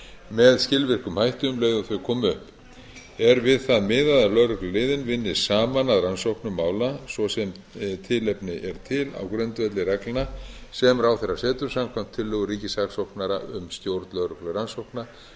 með skilvirkum hætti um leið og þau koma upp er við það miðað að lögregluliðin vinni saman að rannsóknum mála svo sem tilefni er til á grundvelli reglna sem ráðherra setur samkvæmt tillögu ríkissaksóknara um stjórn lögreglurannsókna